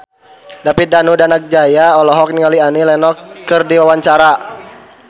David Danu Danangjaya olohok ningali Annie Lenox keur diwawancara